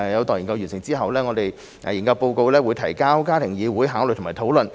待研究完成後，研究報告會提交家庭議會考慮及討論。